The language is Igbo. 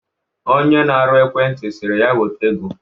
Onye na-arụ ekwenti sịrị ya weta ego